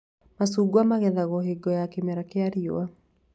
Macungwa magethagwo hingo ya kĩmera kĩa rĩũa